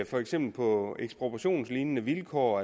for eksempel på ekspropriationslignende vilkår